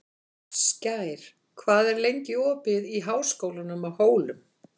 Skær, hvað er lengi opið í Háskólanum á Hólum?